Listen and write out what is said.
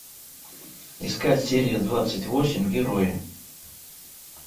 искать серия двадцать восемь герои